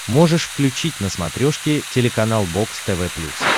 можешь включить на смотрешке телеканал бокс тв плюс